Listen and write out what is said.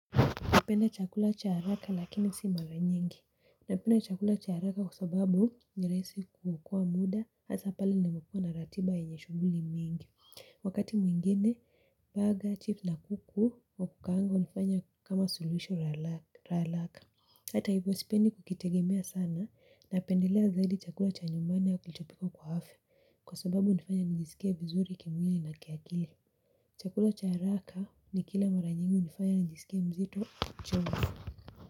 Napenda chakula cha haraka lakini si mara nyingi. Napenda chakula cha haraka kwa sababu ni rahisi kuokoa muda hasa pale ninapokua na ratiba yenye shughuli mingi. Wakati mwingine burger, chips na kuku wa kukaanga unafanya kama suluhisho haraka. Hata hivyo sipendi kukitegemea sana napendelea zaidi chakula cha nyumbani kilichopikwa kwa afya. Kwa sababu hunifanya nijisike vizuri kimwili na kiakili. Chakula cha haraka nikila mara nyingi hunifaya nijisike mzito.